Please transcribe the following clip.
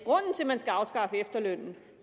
man skal afskaffe efterlønnen